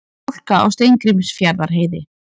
Hálka á Steingrímsfjarðarheiði